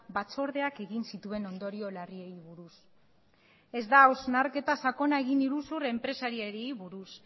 batzordeak egin zituen ondorio larriei buruz ez da hausnarketa sakona egin iruzur enpresariei buruz